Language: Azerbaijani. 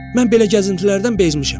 Mən belə gəzintilərdən bezmişəm.